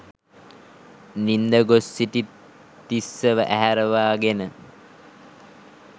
නින්ද ගොස් සිටි තිස්සව ඇහැරවාගෙන